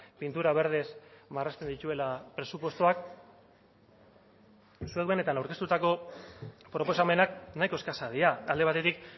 pintura berdez marrazten dituela presupuestoak zuek benetan aurkeztutako proposamenak nahiko eskasak dira alde batetik